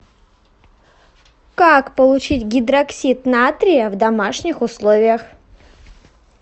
как получить гидроксид натрия в домашних условиях